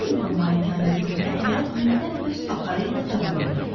Harington malikanəsində həyat yenidən öz axarı ilə davam edirdi.